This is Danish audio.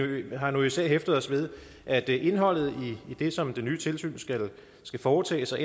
vi har nu især hæftet os ved at indholdet i det som det nye tilsyn skal foretage sig